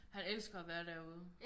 Han elsker at være derude